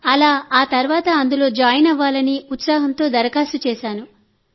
అలా ఆ తర్వాత అందులో జాయిన్ అవ్వాలని ఉత్సాహంతో దరఖాస్తు చేశాను